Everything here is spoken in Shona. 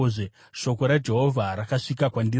Shoko raJehovha rakasvika kwandiri richiti: